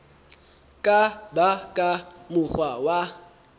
ka ba ka mokgwa wa